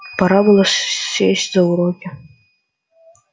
пора было сесть за уроки